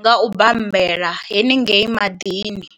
nga u bambela haningei maḓini.